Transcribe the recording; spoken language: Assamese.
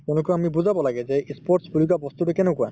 তেওঁলোকক আমি বুজাব লাগে যে ই sports বুলি কোৱা বস্তুতো কেনেকুৱা